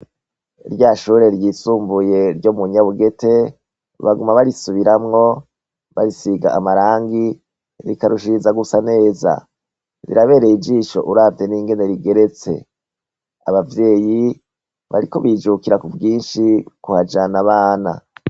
Rya shure ryisumbuye ryo mu Nyabugete baguma barisubiramwo barisiga amarangi rikarushiriza gusa neza, rirabereye ijisho uravye ningene rigeretse, abavyeyi bariko bijukira ku bwinshi kuhajana abana.